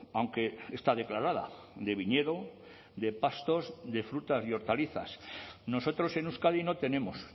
aunque está declarada de viñedo de pastos de frutas y hortalizas nosotros en euskadi no tenemos